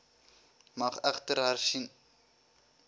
mag egter hersien